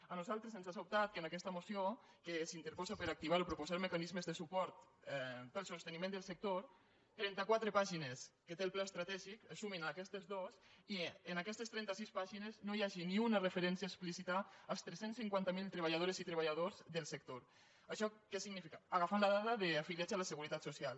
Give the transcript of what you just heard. a nosaltres ens ha sobtat que en aquesta moció que s’interposa per activar o proposar mecanismes de suport per al sosteniment del sector trenta quatre pàgines que té el pla estratègic es sumin a aquestes dos i en aquestes trenta sis pàgines no hi hagi ni una referència explícita als tres cents i cinquanta miler treballadores i treballadors del sector agafant la dada d’afiliats a la seguretat social